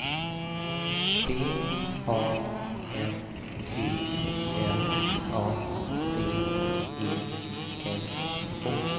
B A N G L A D E S H